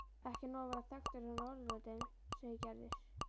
Ekki nóg að vera þekktur á Norðurlöndum segir Gerður.